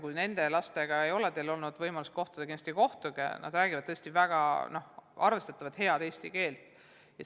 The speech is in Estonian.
Kui teil ei ole olnud võimalust nende lastega kohtuda, siis kindlasti kohtuge, nad räägivad tõesti väga head eesti keelt.